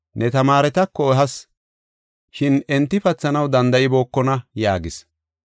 Ne tamaaretako ehas, shin enti pathanaw danda7ibookona” yaagis.